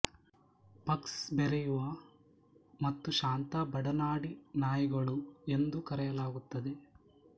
pugs ಬೆರೆಯುವ ಮತ್ತು ಶಾಂತ ಬಡನಾಡಿ ನಾಯಿಗಳು ಎಂದು ಕರೆಯಲಾಗುತ್ತದೆ